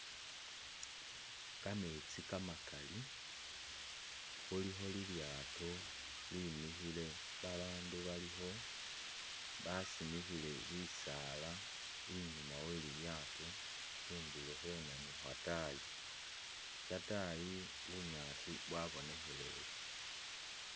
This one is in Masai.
Kametsi kamakali, khulikho lilyato limikhile ba bandu balikho, basimikhile bisaala inyuma welilyato khundulo khweno ni khwatayi, shatayi bunyaasi bwabonekheleye.